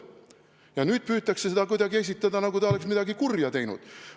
Ja nüüd püütakse seda esitada kuidagi nii, nagu ta oleks midagi kurja teinud.